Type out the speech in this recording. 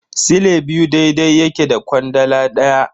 Sile biyu daidai yake da kwandala daya.